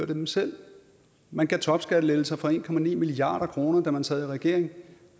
dem selv man gav topskattelettelser for en milliard kr da man sad i regering